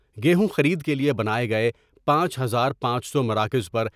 گیہوں خرید کے لئے بناۓ گئے پانچ ہزار پانچ سو مراکزپر